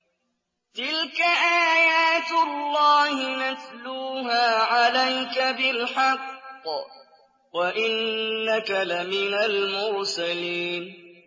تِلْكَ آيَاتُ اللَّهِ نَتْلُوهَا عَلَيْكَ بِالْحَقِّ ۚ وَإِنَّكَ لَمِنَ الْمُرْسَلِينَ